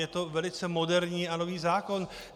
Je to velice moderní a nový zákon.